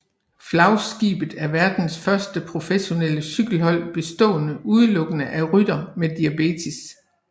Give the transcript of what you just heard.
Flagskibet er verdens første professionelle cykelhold bestående udelukkende af ryttere med diabetes